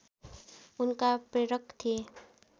उनका प्रेरक थिए